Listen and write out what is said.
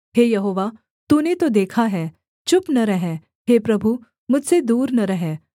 हे यहोवा तूने तो देखा है चुप न रह हे प्रभु मुझसे दूर न रह